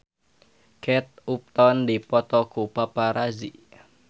Kate Upton dipoto ku paparazi